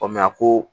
a ko